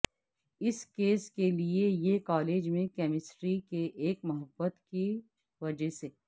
اس case کے لئے یہ کالج میں کیمسٹری کے ایک محبت کی وجہ سے